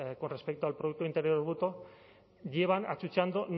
con respecto al producto interior bruto llevan achuchando